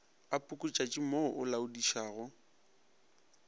ga pukutšatši mo o laodišago